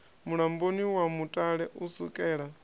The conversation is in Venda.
mulamboni wa mutale u sukela